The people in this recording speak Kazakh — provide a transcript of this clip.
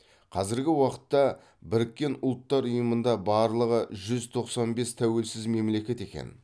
қазіргі уақытта біріккен ұллтар ұйымында барлығы жүз тоқсан бес тәуелсіз мемлекет екен